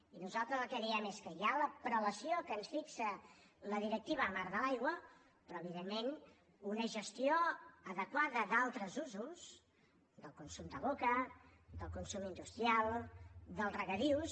i nosaltres el que diem és que hi ha la prelació que ens fixa la directiva marc de l’aigua però evidentment una gestió adequada d’altres usos del consum de boca del consum industrial dels regadius